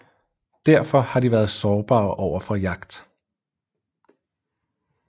Derfor har de været sårbare overfor jagt